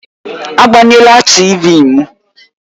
Agbanyela TịVị m!